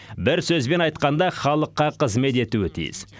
бір сөзбен айтқанда халыққа қызмет етуі тиіс